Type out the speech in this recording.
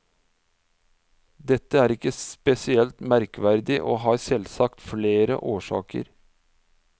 Dette er ikke spesielt merkverdig, og har selvsagt flere årsaker.